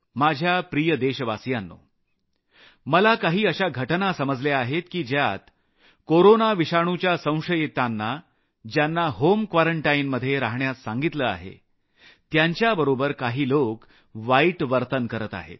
माझ्या प्रिय देशवासियांनो मला काही अशा घटना समजल्या आहेत की ज्यात कोरोना विषाणुच्या संशयितांना ज्यांना होम क्वारंटाईनमध्ये रहाण्यास सांगितलं आहे त्यांच्याबरोबर काही लोक वाईट वर्तन करत आहेत